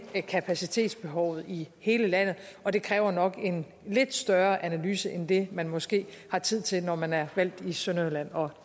kapacitetsbehovet i hele landet og det kræver nok en lidt større analyse end det man måske har tid til når man er valgt i sønderjylland og